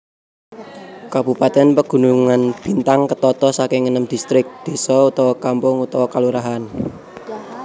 Kabupatèn Pegunungan Bintang ketata saking enem distrik désa/kampung/kalurahan